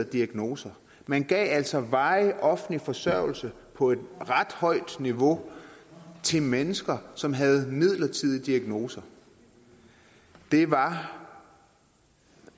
diagnoser man gav altså varig offentlig forsørgelse på et ret højt niveau til mennesker som havde midlertidige diagnoser det var